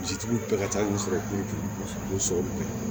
Misitigiw bɛɛ ka ca olu sɔrɔ kun so